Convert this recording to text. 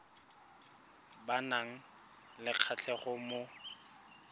ba nang le kgatlhego mo